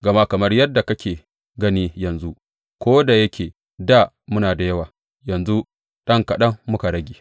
Gama kamar yadda kake gani yanzu, ko da yake dā muna da yawa, yanzu ɗan kaɗan muka rage.